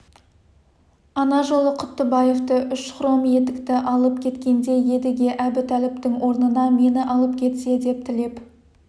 ана жолы құттыбаевты үш хром етікті алып кеткенде едіге әбутәліптің орнына мені алып кетсе деп тілеп